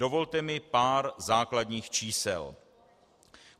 Dovolte mi pár základních čísel.